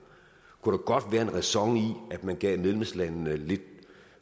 kunne der godt være ræson i at man gav medlemslandene lidt